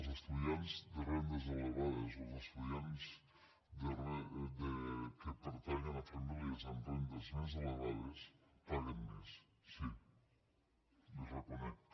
els estudiants de rendes elevades o els estudiants que pertanyen a famílies amb rendes més elevades paguen més sí li ho reconec